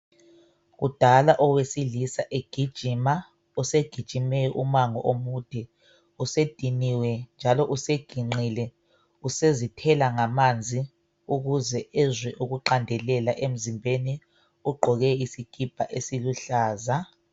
Kudala owesilisa egijima usegijime umango omude usediniwe njalo useginqile usezithela ngamanzi ukuze ezwe ukuqandelela emzimbeni ugqoke isikipa esiluhlaza.